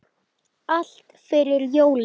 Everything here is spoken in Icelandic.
Allt fyrir jólin.